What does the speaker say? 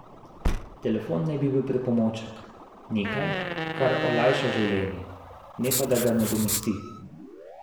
Telefon naj bi bil pripomoček, nekaj, kar olajša življenje, ne pa da ga nadomesti.